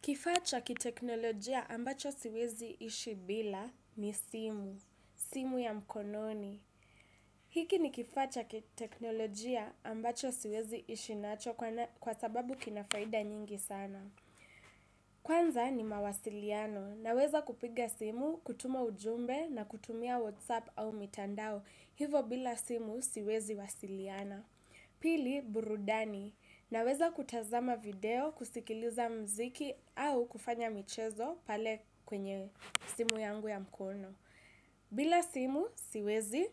Kifaa cha kiteknolojia ambacho siwezi ishi bila ni simu, simu ya mkononi. Hiki ni kifaa cha kiteknolojia ambacho siwezi ishi nacho kwa sababu kinafaida nyingi sana. Kwanza ni mawasiliano naweza kupiga simu, kutuma ujumbe na kutumia whatsapp au mitandao hivo bila simu siwezi wasiliana. Pili, burudani. Naweza kutazama video, kusikiliza muziki au kufanya michezo pale kwenye simu yangu ya mkono. Bila simu, siwezi